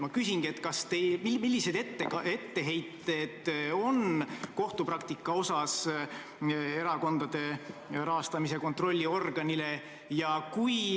Millised etteheited kohtupraktika osas erakondade rahastamise kontrolli organile on?